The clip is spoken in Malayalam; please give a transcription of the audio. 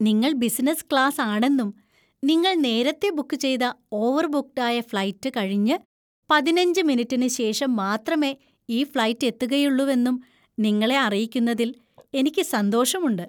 നിങ്ങൾ ബിസിനസ് ക്ലാസ് ആണെന്നും നിങ്ങൾ നേരത്തെ ബുക്ക് ചെയ്ത ഓവർബുക്ക്ഡ് ആയ ഫ്ലൈറ്റ് കഴിഞ്ഞ് പതിനഞ്ച് മിനിറ്റിനു ശേഷം മാത്രമേ ഈ ഫ്ലൈറ്റ് എത്തുകയുള്ളൂവെന്നും നിങ്ങളെ അറിയിക്കുന്നതിൽ എനിക്ക് സന്തോഷമുണ്ട്.